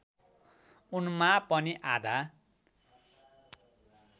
उनमा पनि आधा